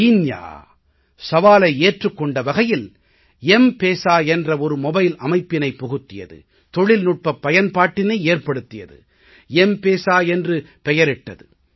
Kenya சவாலை ஏற்றுக் கொண்ட வகையில் ம்பேசா என்ற ஒரு மொபைல் அமைப்பினை புகுத்தியது தொழில்நுட்பப் பயன்பாட்டினை ஏற்படுத்தியது ம்பேசா என்ற பெயரிட்டது